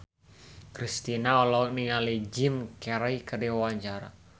Kristina olohok ningali Jim Carey keur diwawancara